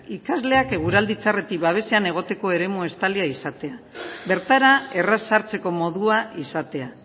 ikasleak eguraldi txarretik babesean egoteko eremu estalia izatea bertara erraz sartzeko modua izatea